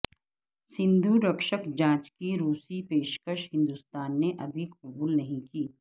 سندھو رکشک جانچ کی روسی پیشکش ہندوستان نے ابھی قبول نہیں کی